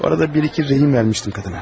O arada bir-iki zəhim vermişdim qadına.